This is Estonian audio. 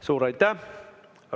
Suur aitäh!